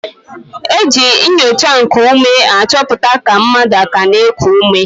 E ji nnyocha nkuume achọpụta ka mmadụ aka na-eku ume.